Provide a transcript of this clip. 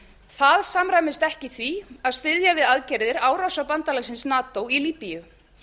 það samræmist ekki því að styðja við aðgerðir árása bandalagsins nato í líbíu